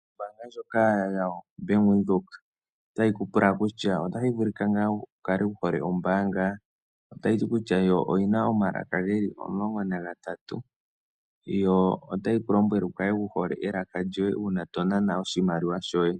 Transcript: Ombaanga ndjoka ya bank Windhoek otayi ku pula kutya otashi vulika ngaa wu kale wu hole ombaanga otayi ti kutya yo oyina omalaka geli omulongo nagatatu yo otayi ku lombwele wu kale wu hole elaka lyoye uuna to naana oshimaliwa shoye.